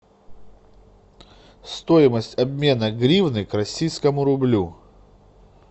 стоимость обмена гривны к российскому рублю